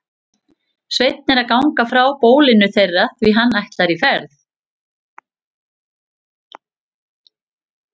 Sveinn er að ganga frá bólinu þeirra því hann ætlar í ferð.